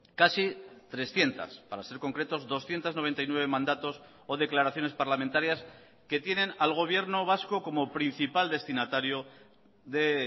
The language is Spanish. casi trescientos para ser concretos doscientos noventa y nueve mandatos o declaraciones parlamentarias que tienen al gobierno vasco como principal destinatario de